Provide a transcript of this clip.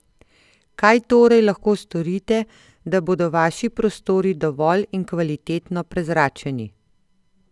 Kaj torej lahko storite, da bodo vaši prostori dovolj in kvalitetno prezračeni?